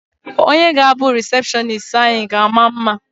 Onye ga-abụ rịsepshọnis anyị ga-ama mma.